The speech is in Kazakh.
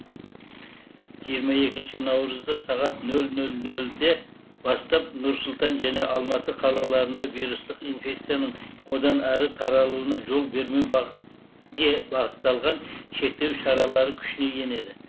жиырма екінші наурызда сағат нөл нөл нөл нөлден бастап нұр сұлтан және алматы қалаларында вирустық инфекцияның одан әрі таралуына жол бермеуге бағытталған шектеу шаралары күшіне енеді